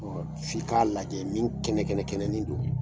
f'i ka lajɛ min kɛnɛ kɛnɛ kɛnɛnin don.